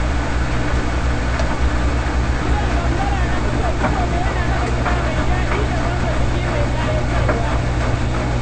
Kiɗan gambara na fi so saboda ya haɗa kiɗa mai daɗi da motsa jiki mai ƙayatarwa.